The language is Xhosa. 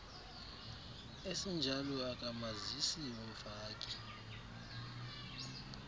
esinjalo akamazisi umfaki